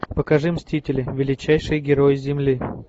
покажи мстители величайшие герои земли